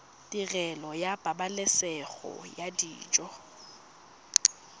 tirelo ya pabalesego ya dijo